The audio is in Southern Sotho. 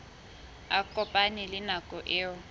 a kopane le nako eo